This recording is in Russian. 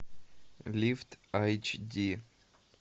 лифт айч ди